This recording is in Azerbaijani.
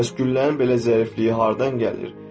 Bəs güllənin belə zərifliyi hardan gəlir?